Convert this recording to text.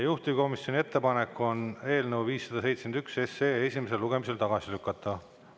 Juhtivkomisjoni ettepanek on eelnõu 571 esimesel lugemisel tagasi lükata.